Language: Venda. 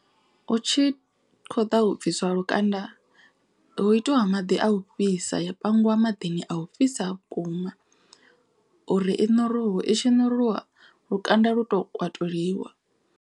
Hu tshi khou ḓa u bviswa lukanda hu itiwa maḓi a u fhisa ya pangiwa maḓini a u fhisa vhukuma. Uri i ṋuruwe i tshi ṋuriwa lukanda lu to kwatuliwa.